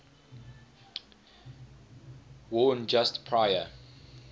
worn just prior